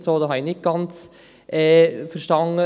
Ich habe den Grund dafür nicht ganz verstanden.